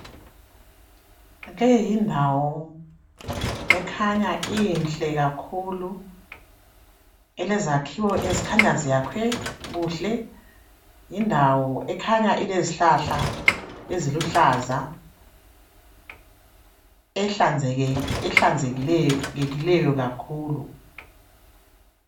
Leyindawo ekhanya inhle kakhulu elazekhiwo ezikhanya zakhiwe kuhle yindawo ekhanya ilezihlahla eziluhlaza ehlanzekileyo kakhulu.